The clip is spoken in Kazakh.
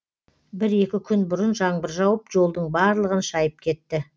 бір екі күн бұрын жаңбыр жауып жолдың барлығын шайып кетті